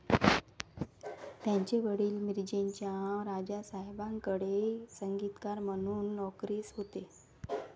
त्यांचे वडील मिरजेच्या राजसाहेबांकडे संगीतकार म्हणून नोकरीस होते.